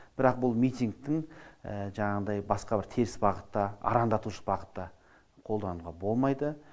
бірақ бұл митингтің жаңағыдай басқа бір теріс бағытта арандатушы бағытта қолдануға болмайды